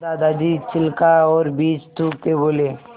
दादाजी छिलका और बीज थूकते बोले